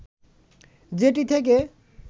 যেটি থেকে